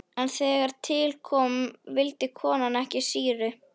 En þegar til kom vildi konan ekki sýru.